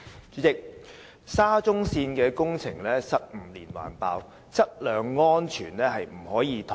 主席，沙田至中環線的工程失誤連環爆，質量安全絕對不可以妥協。